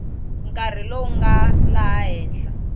nkarhi lowu nga laha henhla